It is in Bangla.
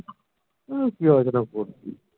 ওই কি আলোচনা করবে